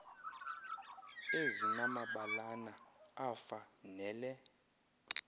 ezinamabalana afa nele